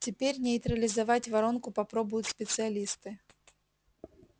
теперь нейтрализовать воронку попробуют специалисты